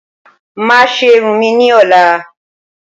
Mà á ṣé irun mi ní ọ̀la